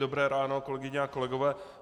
Dobré ráno, kolegyně a kolegové.